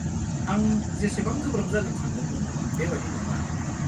आं जेसेबां गोब्राब जागोन सान्दोंमोन, बेबादि नङा।